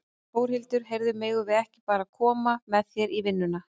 Þórhildur: Heyrðu, megum við ekki bara koma með þér í vinnuna?